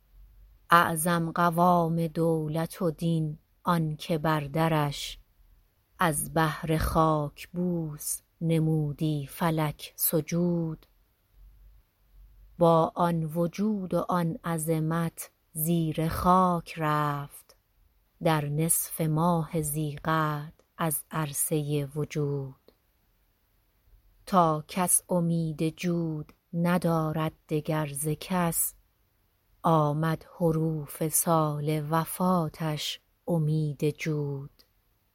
اعظم قوام دولت و دین آنکه بر درش از بهر خاکبوس نمودی فلک سجود با آن وجود و آن عظمت زیر خاک رفت در نصف ماه ذی قعد از عرصه وجود تا کس امید جود ندارد دگر ز کس آمد حروف سال وفاتش امیذ جود